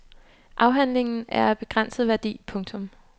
Afhandlingen er af begrænset værdi. punktum